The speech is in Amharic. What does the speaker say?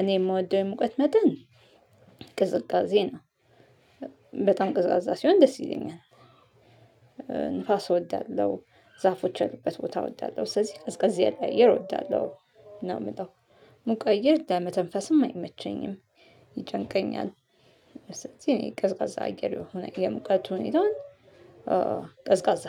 እኔ እምወደው የሙቀት መጠን ቅዝቃዜ ነው። በጣም ቅዝቃዛ ሲሆን ደስ ይለኛል። ንፋስ እወዳለሁ ዛፎች ያሉበት ቦታ እወዳለሁ። ስለዚህ ቀዝቀዝ ላይ እየር እወዳለሁ ነው እምለው። ሙቀት ግን ለመተንፈስም አይመቸኝም ይጨንቀኛል። እዚህ እኔ ቀዝቃዛ አየር የሆነ የሙቀቱ ሁኔታውን። ቀዝቃዛ